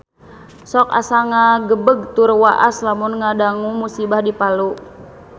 Sok asa ngagebeg tur waas lamun ngadangu musibah di Palu